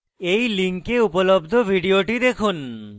এই link উপলব্ধ video দেখুন